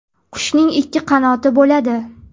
Qushning ikki qanoti bo‘ladi.